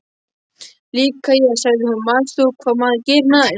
Líka ég, sagði hún: Manst þú hvað maður gerir næst?